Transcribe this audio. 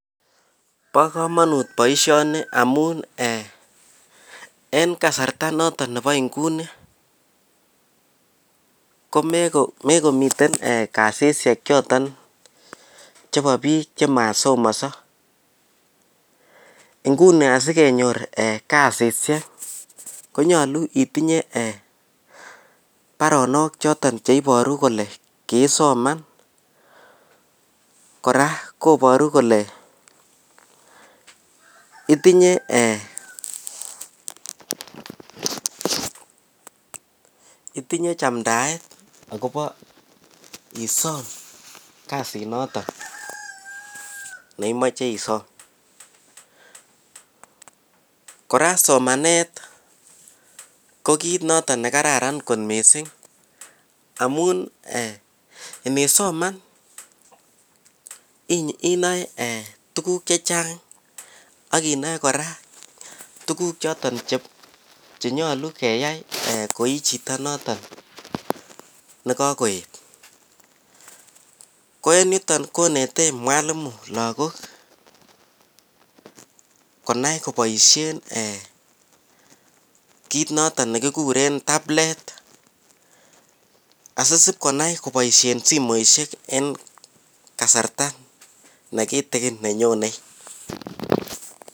Bo kamanut boisyoni amun eeh en kasarta noton Nebo Nguni komekometen kasishek chebo bik chemasomanso inguni asikenyor kasishek konyolu itinye baronok choton cheibaru kole kisoman kora kobaru kole itinye chamdaet neiboru kole itinye chamdaet isom Kasinotok imoche isom kora somanet KO kit noto nekararan mising amu eeh ngisoma inae tukuk chechang akinai kora tukuk chebo boisyengung nekakoet KO en yuton konete mwalimu lakok konao koboishen [tablet] asipkonai koboishen simoisyek eng kasarta nekitikin nenyonei